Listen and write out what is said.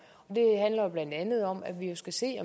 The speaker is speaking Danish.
og blandt andet om at der skal ses